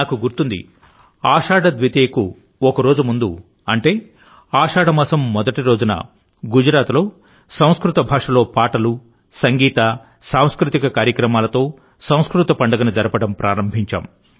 నాకు గుర్తుందిఆషాఢ ద్వితీయకు ఒక రోజు ముందుఅంటే ఆషాఢమాసం మొదటిరోజున గుజరాత్లో సంస్కృత భాషలో పాటలు సంగీతసాంస్కృతిక కార్యక్రమాలతో సంస్కృత పండుగను జరపడం ప్రారంభించాం